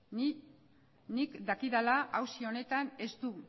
nik dakidala auzi honetan ez du